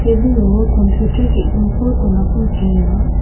tebilo kampiutar ge·gniko donako nikenga.